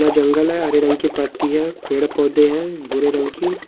यह जंगल है हरे रंग की पत्ती है पेड़-पौधे हैं भूरे रंग की।